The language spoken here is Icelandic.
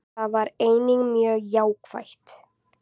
Það var einnig mjög jákvætt